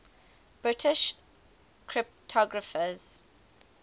british cryptographers